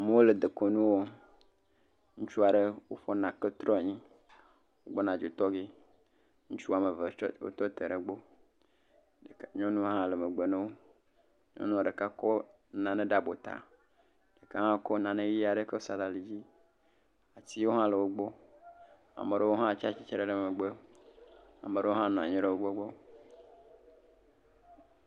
Amewo le dekɔnu wɔm. Ŋutsu aɖe ƒo ƒu nake trɔ ɖe anyi gbɔna dzo tɔ gee. Ŋutsu woame ve tsɔ tsa tre ɖe egbɔ. Nyɔnu hã le megbe na wo. Nyɔnu ɖeka kɔ nane ɖe abɔta. ɖeka hã kɔ nane ʋi aɖe kɔ sa ɖe ali dzi. atiwo hã le wogbɔ. Ame aɖewo hã tsa tsi tre ɖe megbe. Ame aɖewo hã nɔ anyi ɖe wogbɔ, gbɔ.